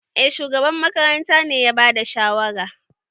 Eh, shugaban makarantar ne ya bada shawara.